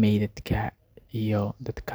meydka iyo dadka.